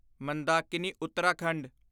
Mandakini Uttarakhand